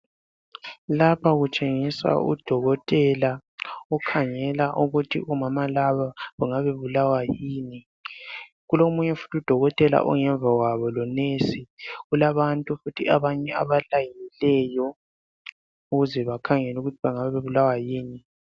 Lapha kutshengiswa udokotela okhangela ukuthi omama laba bengaba bebulawa yini. Kulomunye futhi udokotela ongemva kwabo lonesi kulabantu futhi abanye abalayinileyo ukuze bakhangelwe ukuthi bengabe bebulawa yini.